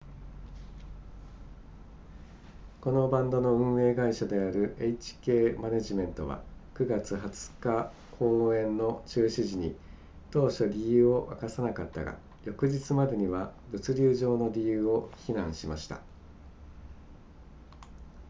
このバンドの運営会社である hk マネジメントは9月20日公演の中止時に当初理由を明かさなかったが翌日までには物流上の理由を非難しました